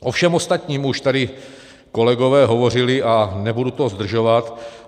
O všem ostatním už tady kolegové hovořili a nebudu to zdržovat.